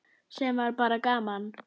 Sem var bara gaman.